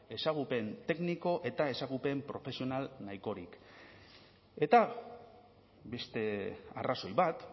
ezagupen tekniko eta ezagupen profesional nahikorik eta beste arrazoi bat